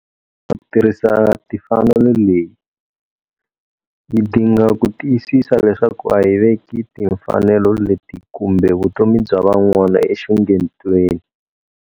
Ku tirhisa mfanelo leyi, hi dinga ku tiyisisa leswaku a hi veki timfanelo leti kumbe vutomi bya van'wana enxungetweni.